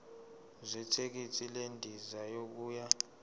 zethikithi lendiza yokuya